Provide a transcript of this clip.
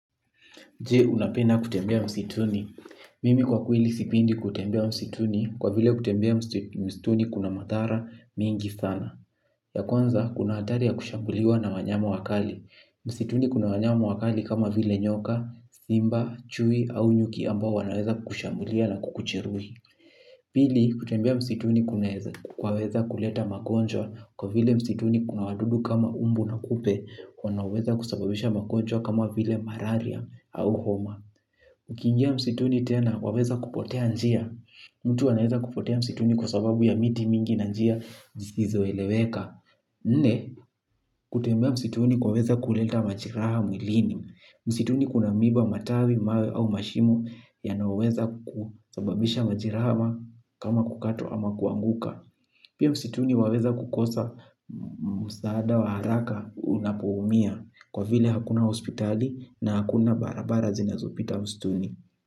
Jee unapenda kutembea msituni. Mimi kwa kweli sipendi kutembea msituni kwa vile kutembea msituni kuna madhara mingi sana. Ya kwanza kuna hatari ya kushambuliwa na wanyama wakali. Msituni kuna wanyama wakali kama vile nyoka, simba, chui au nyuki ambao wanaweza kukushambulia na kukujeruhi. Pili kutembea msituni kunaweza kuleta magonjwa kwa vile msituni kuna wadudu kama umbu na kupe wanaoweza kusababisha magonjwa kama vile malaria au homa. Ukingia msituni tena waweza kupotea njia. Mtu anaweza kupotea msituni kwa sababu ya miti mingi na njia zisizo eleweka. Nne, kutembea msituni kwaweza kuleta majeraha mwilini. Msituni kuna miba matawi, mawe au mashimo yanayo weza kusababisha majeraha ama kama kukatwa ama kuanguka. Pia msituni waweza kukosa msaada wa haraka unapo umia kwa vile hakuna hospitali na hakuna barabara zina zopita usituni.